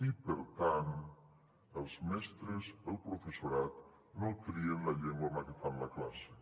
i per tant els mestres el professorat no trien la llengua en la que fan la classe